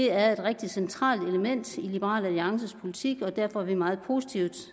er et rigtig centralt element i liberal alliances politik og derfor er vi meget positive